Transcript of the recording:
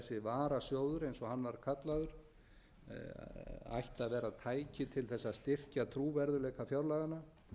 varasjóður eins og hann var kallaður ætti að vera tæki til þess að styrkja trúverðugleika fjárlaganna